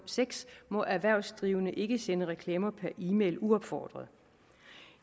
seks må erhvervsdrivende ikke sende reklamer per e mail uopfordret